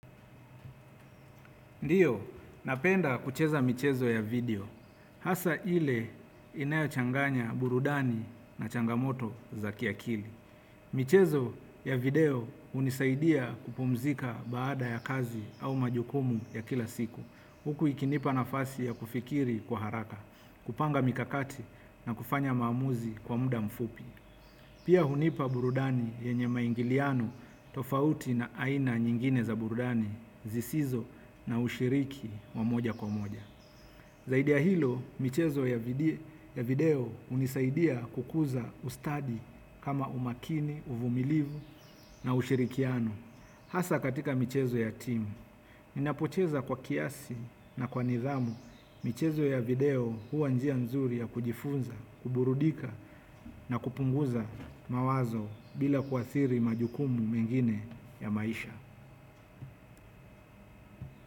Ndio, napenda kucheza michezo ya video. Hasa ile inayochanganya burudani na changamoto za kiakili. Michezo ya video hunisaidia kupumzika baada ya kazi au majukumu ya kila siku. Huku ikinipa nafasi ya kufikiri kwa haraka, kupanga mikakati na kufanya maamuzi kwa muda mfupi. Pia hunipa burudani yenye maingiliano tofauti na aina nyingine za burudani zisizo na ushiriki wa moja kwa moja. Zaidi ya hilo, michezo ya video hunisaidia kukuza ustadi kama umakini, uvumilivu na ushirikiano. Hasa katika michezo ya timu, ninapocheza kwa kiasi na kwa nithamu michezo ya video huwa njia nzuri ya kujifunza, kuburudika na kupunguza mawazo bila kuathiri majukumu mengine ya maisha.